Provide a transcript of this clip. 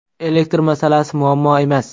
Elektr masalasi muammo emas.